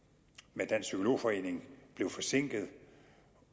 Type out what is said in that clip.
med dansk psykolog forening blev forsinket